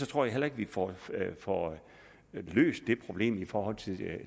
tror jeg heller ikke at vi får får løst det problem i forhold